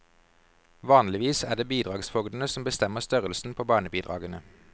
Vanligvis er det bidragsfogdene som bestemmer størrelsen på barnebidragene.